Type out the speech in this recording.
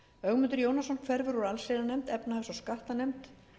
ögmundur jónasson hverfur úr allsherjarnefnd efnahags og skattanefnd